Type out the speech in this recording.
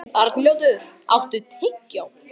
Arnljótur, áttu tyggjó?